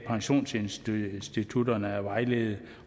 pensionsinstitutterne at vejlede